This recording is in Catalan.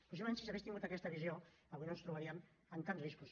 possiblement si s’hagués tingut aquesta visió avui no ens trobaríem amb tants riscos